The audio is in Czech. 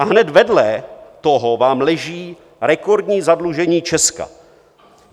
A hned vedle toho vám leží rekordní zadlužení Česka.